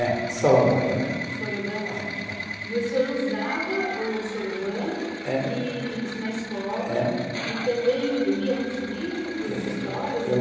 É soroban, né. Soroban é o ábaco. É, é. E o senhor usava o soroban. Eh. E, e na escola. Eh. E também lia muitos livros, histórias